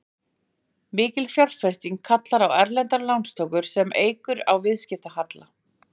Mikil fjárfesting kallar þá á erlendar lántökur sem eykur á viðskiptahalla.